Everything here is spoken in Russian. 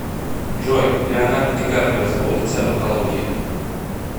джой леонардо ди каприо заботится об экологии